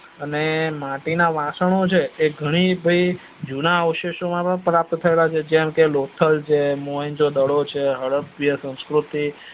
અને માટીના વાસણો છે એ ઘણી ભાઈ જુના અવશેષો પણ પ્રાત્ય થયેલા છે જે કે લોથલ છે મોહેન્દ્ર્જો દડો છે હડપ્પા સંસ્કૃતિ